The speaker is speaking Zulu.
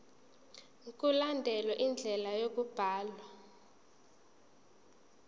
mkulandelwe indlela yokubhalwa